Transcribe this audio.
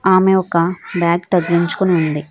ఆమె ఒక బ్యాగ్ తగిలించికొని ఉంది.